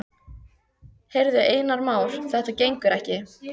Heyrðu, Einar Már, þetta gengur ekki.